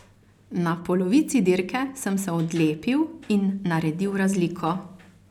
Na polovici dirke sem se odlepil in naredil razliko.